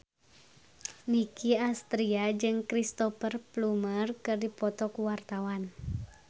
Nicky Astria jeung Cristhoper Plumer keur dipoto ku wartawan